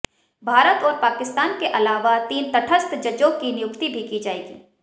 भारत और पाकिस्तान के अलावा तीन तटस्थ जजों की नियुक्ति भी की जाएगी